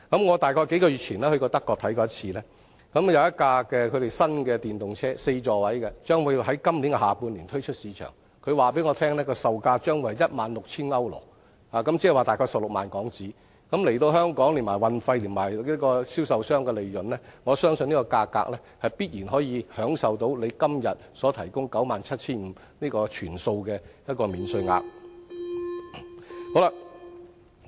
我大約於數月前到訪德國視察，他們有一輛4座位的新型號電動車將於今年下半年推出市場，他們告訴我這電動車的售價將會是 16,000 歐羅，換言之，車價大約是 160,000 港元，連同運送至香港的運費和銷售商的利潤，我相信這價格必然能享受政府今天所提供的 97,500 元的全數免稅額。